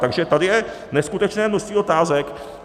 Takže tady je neskutečné množství otázek.